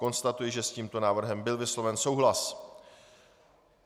Konstatuji, že s tímto návrhem byl vysloven souhlas.